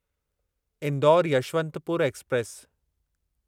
Indore Yesvantpur express